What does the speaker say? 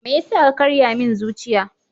Me yasa ka karya min zuciya?